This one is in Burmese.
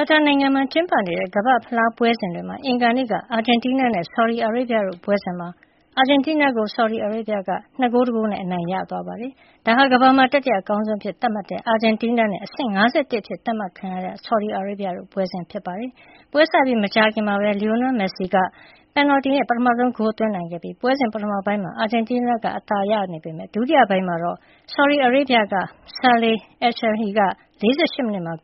ာတာနိုင်ငံမှာ ကျင်းပနေတဲ့ ကမ္ဘာ့ ဖလားပွဲ ပွဲစဉ်တွေရဲ့အင်္ဂါနေ့ အာဂျင်တီးနား နဲ့ ဆော်ဒီအာရေဗျတို့ရဲ့ ပွဲစဉ်မှာ အာဂျင်တီးနားကို ဆော်ဒီအာရေဗျက ၂ ဂိုး ၁ ဂိုးနဲ့ အနိုင်ရသွားခဲ့ပါတယ်။ ဒါဟာ ကမ္ဘာမှာ တတိယအကောင်းဆုံး အဖြစ်သတ်မှတ်ခံရတဲ့ အာဂျင်တီးနားနဲ့ အဆင့် ၅၁ အဖြစ် သတ်မှတ်ထားတဲ့ ဆော်ဒီအာရေဗျ တို့ရဲ့ ပွဲစဉ်ဖြစ်ပါတယ်။ ပွဲစပြီး မကြာခင်မှာပဲ Lionel Messi က ပင်နယ်လ်တီနဲ့ ပထမဆုံးဂိုးကို သွင်းနိုင်ခဲ့ပြီး ပွဲစဉ်ပထမပိုင်းမှာ အာဂျင်တီးနားက အသာစီးရနေပေမယ့် ဒုတိယပိုင်းမှာတော့ ဆော်ဒီအာရေဗျက Saleh Alshehri က ၄၈ မိနစ်မှာ